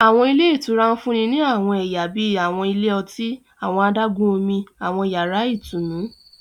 Àwọn ilé ìtura ń fún ni àwọn ẹyà bíi àwọn ilé ọtí, àwọn adágún-Omi, àwọn yàrá ìtùnú